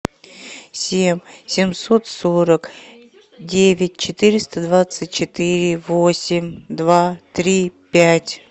семь семьсот сорок девять четыреста двадцать четыре восемь два три пять